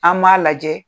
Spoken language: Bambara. An m'a lajɛ